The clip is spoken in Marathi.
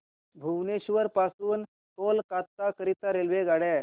भुवनेश्वर पासून कोलकाता करीता रेल्वेगाड्या